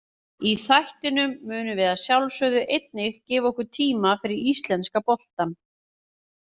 Í þættinum munum við að sjálfsögðu einnig gefa okkur tíma fyrir íslenska boltann.